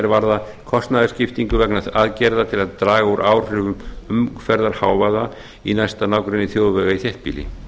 varða kostnaðarskiptingu vegna aðgerða til að draga úr áhrifum umferðarhávaða í næsta nágrenni þjóðvega í þéttbýli